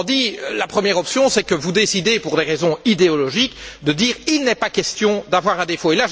Autrement dit, la première option, c'est que vous décidez, pour des raisons idéologiques, de dire qu'il n'est pas question d'avoir un défaut.